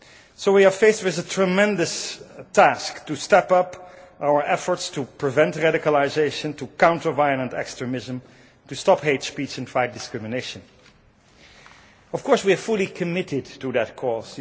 So we are faced with a tremendous task to step up our efforts to prevent radicalisation, to counter violent extremism, to stop hate speech and fight discrimination. Of course we are fully committed to that cause.